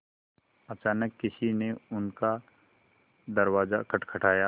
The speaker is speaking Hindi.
अचानक किसी ने उनका दरवाज़ा खटखटाया